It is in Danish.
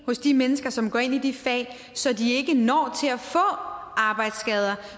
hos de mennesker som går ind i de fag så de ikke når til at få arbejdsskader